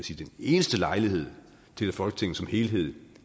eneste lejlighed til at folketinget som helhed